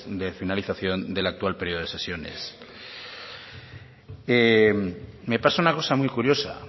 de la finalización del actual periodo de sesiones me pasa una cosa muy curiosa